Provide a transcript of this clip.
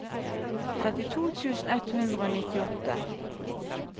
trettito tusen ett hundre og nittiåtte